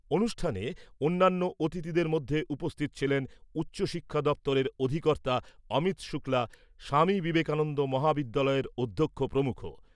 অনুষ্ঠানে অন্যান্য অতিথিদের মধ্যে উপস্থিত ছিলেন উচ্চ শিক্ষা দপ্তরের অধিকর্তা অমিত শুক্লা, স্বামী বিবেকানন্দ মহাবিদ্যালয়ের অধ্যক্ষ প্রমুখ।